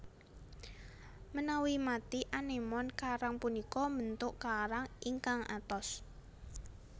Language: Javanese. Menawi mati anémon karang punika mbentuk karang ingkang atos